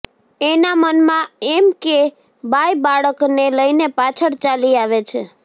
એના મનમાં એમ કે બાઈ બાળકને લઈને પાછળ ચાલી આવે છે